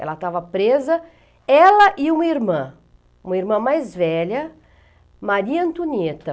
Ela estava presa, ela e uma irmã, uma irmã mais velha, Maria Antonieta.